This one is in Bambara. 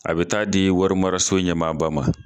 A bɛ taa di warimaraso ɲɛmaaba ma.